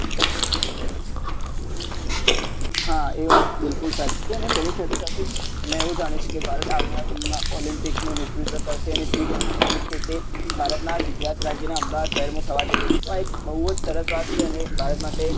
હા એ વાત બિલકુલ સાચી છે ને તેની સાથે સાથે જ મેં એવું જાણ્યું છે કે ભારત આવનારા સમય મા olympic નું નેતૃત્વ કરશે અને જે ભારતના ગુજરાત રાજ્યના અમદાવાદ શહેરમાં થવા જઈ રહ્યું છે આ એક બહુજ સરસ વાત છે અને ભારત માટે એક